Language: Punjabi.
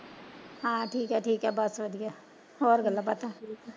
ਹਾਂ ਠੀਕ ਐ ਠੀਕ ਬਸ ਵਧੀਆ ਹੋਰ ਗੱਲਾਂ ਬਾਤਾ?